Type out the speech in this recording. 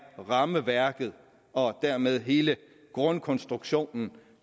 rammeværket og dermed hele grundkonstruktionen